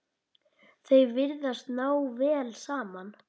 Þau virðast ná vel saman.